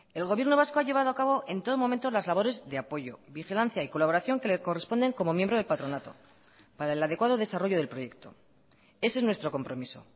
el gobierno vasco ha llevado a cabo en todo momento las labores de apoyo vigilancia y colaboración que le corresponden como miembro del patronato para el adecuado desarrollo del proyecto ese es nuestro compromiso